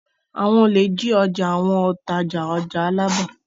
Àwọn olè jí ọjà àwọn òǹtajà ọjà Alábà.